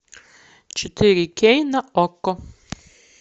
четыре кей на окко